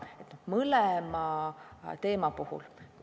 Ei kummagi teema puhul.